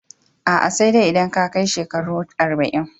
A'a, sai dai idan ka kai shekaru arba'in